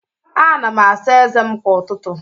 Ana m asa ezé m kwa ụtụtụ